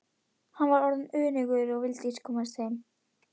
Hann var orðinn önugur og vildi komast heim.